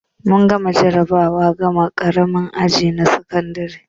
Mun gama jarabawar gama ƙaramin aji na sakandare